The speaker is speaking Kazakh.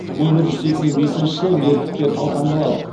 мың бір жүз сексен бесінші жылы меркіттер талқандалады